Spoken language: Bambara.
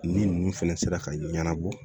Ni ninnu fɛnɛ sera ka ɲɛnabɔ